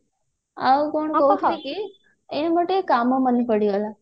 ଆଉ କଣ କହୁଛି କି ଏଇ ମୋର ଟିକେ କାମ ମାନେ ପଡିଗଲା